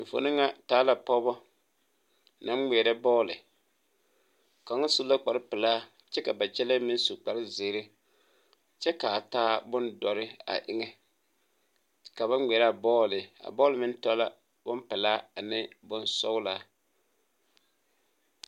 Enfuone ŋa taa la pɔgebɔ naŋ ngmeɛrɛ bɔɔle kaŋa su la kparepelaa kyɛ ka ba kyɛlɛɛ meŋ su kparezeere kyɛ kaa taa bondɔre a eŋɛ ka ba ngmeɛraa bɔɔle a bɔɔle meŋ tɔ la pelaa ane bonsɔglaa.